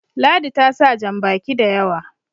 ladi ta sa jan baki da yawa